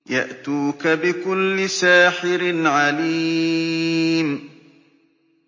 يَأْتُوكَ بِكُلِّ سَاحِرٍ عَلِيمٍ